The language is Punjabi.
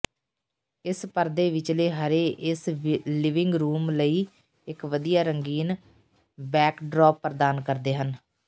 ਇਸ ਪਰਦੇ ਵਿਚਲੇ ਹਰੇ ਇਸ ਲਿਵਿੰਗ ਰੂਮ ਲਈ ਇਕ ਵਧੀਆ ਰੰਗੀਨ ਬੈਕਡ੍ਰੌਪ ਪ੍ਰਦਾਨ ਕਰਦੇ ਹਨ